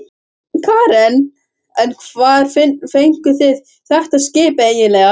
Karen: En hvar fenguð þið þetta skip eiginlega?